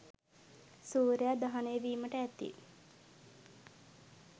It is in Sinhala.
සූර්යයා දහනය වීමට ඇති